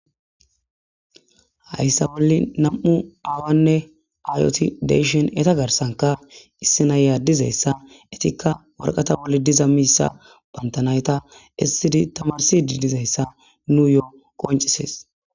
Haysa bollan aawayne ayeti dishin eta harsanka qeri naya dizaysa dinthanka waraqata boll dizaysa ba nayta edidi tamarzidi dizaysa besishe dees.